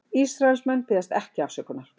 Ísraelsmenn biðjast ekki afsökunar